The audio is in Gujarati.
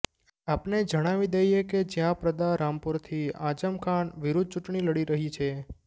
આપને જણાવી દઈએ કે જયા પ્રદા રામપુરથી આઝમ ખાન વિરુદ્ધ ચૂંટણી લડી રહી છે